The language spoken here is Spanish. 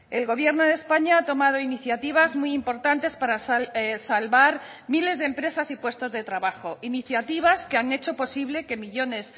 el gobierno de españa ha tomado iniciativas muy importantes para salvar miles de empresas y puestos de trabajo iniciativas que han hecho posible que millónes